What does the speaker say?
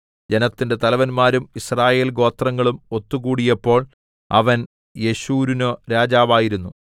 ജനത്തിന്റെ തലവന്മാരും യിസ്രായേൽഗോത്രങ്ങളും ഒത്തുകൂടിയപ്പോൾ അവൻ യെശുരൂനു രാജാവായിരുന്നു